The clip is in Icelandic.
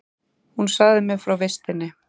Hún sagði mér frá vistinni.